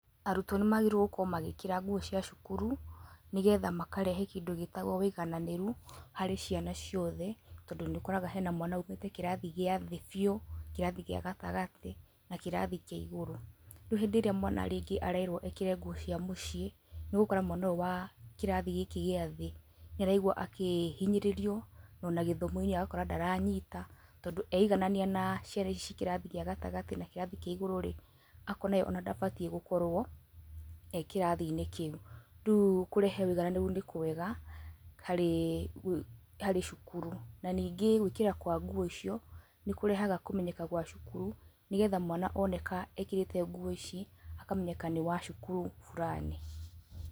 Arutwo nĩ magĩrĩire gũkorwo magĩkĩra nguo cia cukuru nĩgetha makarehe kĩndũ gĩtagwo ũiganĩrĩru harĩ ciana ciothe, tondũ nĩũkoraga hena mwana umĩte kĩrathi gĩa thĩ biũ, kirathi gĩa gatagatĩ, na kĩrathi kĩa igũrũ. Rĩu rĩrĩa mwana rĩngĩ arerwo ekĩra nguo cia mũciĩ , nĩ ũgũkora mwana ũyũ wa kĩrathi gĩkĩ gĩa thĩ nĩ araigua akĩhinyĩrĩrio ona gĩthomo-inĩ agakorwo ndaranyita, tondũ eiganania na ciana ici cia kĩrathi gĩa gatagatĩ na kĩrathi kĩa igũrũ-rĩ, akona ye ona ndabatiĩ gukorwo e kĩrathi-inĩ kĩu. Rĩu kũrehe ũigananĩru nĩ kwega harĩ cukuru, na ningĩ gũĩkĩra kwa nguo icio nĩ kũrehaga kũmenyeka gwa cukuru nĩgetha mwana oneka ekĩrĩte nguo ici akamenyeka nĩ wa cukuru burani.